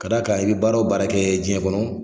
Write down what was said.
K'a d'a kan i be baara o baara kɛ diɲɛ kɔnɔ